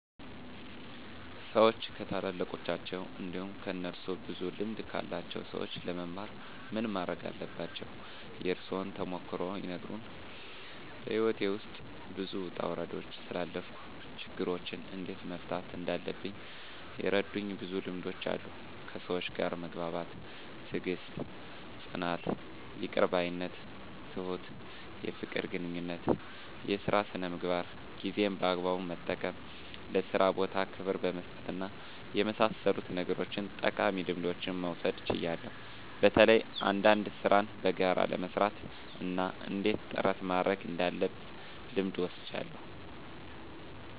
ሰዎች ከታላላቃቸው እንዲሁም ከእነሱ ብዙ ልምድ ካላቸው ሰዎች ለመማር ምን ማረግ አለባቸው? የእርሶን ተሞክሮ ይንገሩን? *በሕይወቴ ውስጥ ብዙ ውጣ ውረዶችን ስላሳለፍኩ፣ ችግሮችን እንዴት መፍታት እንዳለብኝ የረዱኝ ብዙ ልምዶች አሉ፤ ከሰዎች ጋር መግባባት፣ ትዕግስት፣ ጽናት፣ ይቅር ባይነት፣ ትሁት፣ የፍቅር ግንኙነት፣ የሥራ ሥነ ምግባር፣ ጊዜን በአግባቡ መጠቀም፣ ለሥራ ቦታ ክብር በመስጠትና በመሳሰሉት ነገሮች ጠቃሚ ልምዶችን መውሰድ ችያለሁ። በተለይ አንዳንድ ሥራን በጋራ ለመሥራት እና እንዴት ጥረት ማድረግ እንዳለብ ልምድ ወስጃለሁ።